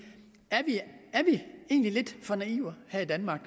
er vi egentlig lidt for naive her i danmark